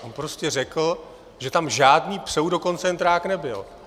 On prostě řekl, že tam žádný pseudokoncentrák nebyl.